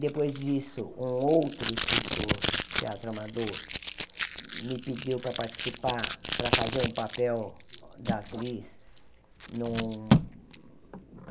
Depois disso, um outro escritor do Teatro Amador me pediu para participar, para fazer um papel da atriz num.